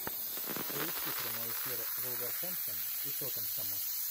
поищи прямой эфир вулверхэмптон и тоттенхэма